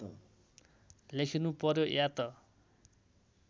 लेखिनु पर्‍यो या त